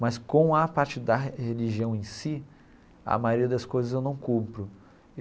Mas com a parte da religião em si, a maioria das coisas eu não cumpro.